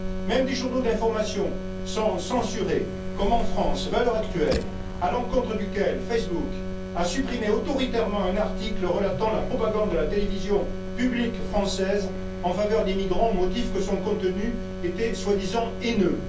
Même des journaux d'information sont censurés comme, en France, Valeurs actuelles, à l'encontre duquel Facebook a supprimé autoritairement un article relatant la propagande de la télévision publique française en faveur des migrants au motif que son contenu était soi disant haineux.